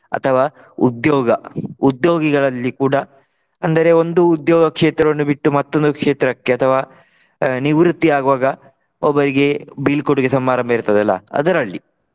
ಅಥವಾ ಉದ್ಯೋಗ ಉದ್ಯೋಗಿಗಳಲ್ಲಿ ಕೂಡ ಅಂದರೆ ಒಂದು ಉದ್ಯೋಗ ಕ್ಷೇತ್ರವನ್ನು ಬಿಟ್ಟು ಮತ್ತೊಂದು ಕ್ಷೇತ್ರಕ್ಕೆ ಅಥವಾ ಅಹ್ ನಿವೃತ್ತಿ ಆಗುವಾಗ ಒಬ್ಬರಿಗೆ ಬೀಳ್ಕೊಡುಗೆ ಸಮಾರಂಭ ಇರ್ತದಲ್ಲಾ ಅದರಲ್ಲಿ.